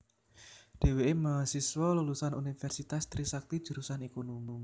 Dheweké mahasiswa lulusan Universitas Trisakti jurusan Ekonomi